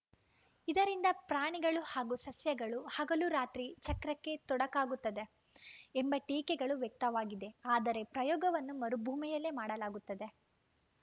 ಇದರಿಂದ ಪ್ರಾಣಿಗಳು ಹಾಗೂ ಸಸ್ಯಗಳ ಹಗಲು ರಾತ್ರಿ ಚಕ್ರಕ್ಕೆ ತೊಡಕಾಗುತ್ತದೆ ಎಂಬ ಟೀಕೆಗಳೂ ವ್ಯಕ್ತವಾಗಿದೆ ಆದರೆ ಪ್ರಯೋಗವನ್ನು ಮರುಭೂಮಿಯಲ್ಲಿ ಮಾಡಲಾಗುತ್ತದೆ